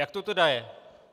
Jak to tedy je?